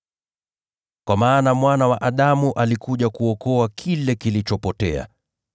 Kwa maana Mwana wa Adamu alikuja kuokoa kile kilichopotea.]